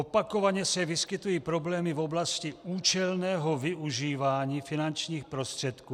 Opakovaně se vyskytují problémy v oblasti účelného využívání finančních prostředků.